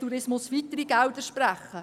Tourismus AG weitere Gelder sprechen.